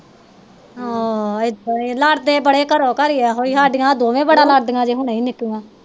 ਆਹ ਆਏ ਹਾਏ ਲੜ ਦੇ ਬੜਾ ਘਰੋਂ ਘਰ ਏਹੋ ਸਾਡੀਆਂ ਦੋਵੇਂ ਬੜਾ ਲੜ ਦੀਆ ਜੇ ਹੁਣੇ ਬੜਾ ਨਿੱਕੀਆਂ